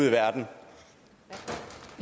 i verden